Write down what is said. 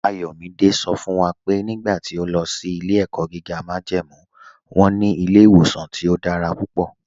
Ayọ̀mídẹ̀ sọ fún wa pé nígbà tí ọ̀ lọ sí ilẹ̀-ẹ̀kọ́ gígá májẹ́mú wọn ní ilẹ̀-ìwọ̀sàn tí ọ̀ dára púpọ̀.